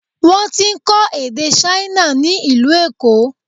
Wọ́n ti ń kọ́ èdè Ṣáínà ni ìlú Èkó.